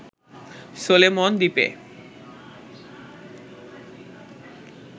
Solomon দ্বীপে